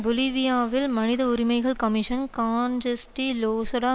பொலிவியாவில் மனித உரிமைகள் commission Sanchez de Losada